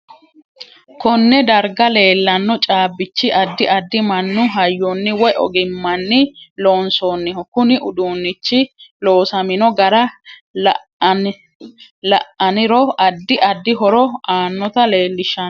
Konne darga leelanno caabichi addi addi mannu hayyoni woy ogimmani loonsooniho kuni uduunichi loosamino gara la'aniro addi addi horo aanota leelishanno